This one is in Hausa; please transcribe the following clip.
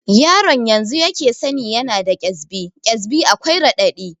Yaron yanzu yake sani yana da ƙesbi, ƙesbi akwai raɗaɗi